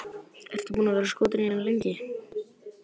Ertu búinn að vera skotinn í henni lengi?